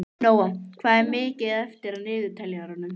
Nóam, hvað er mikið eftir af niðurteljaranum?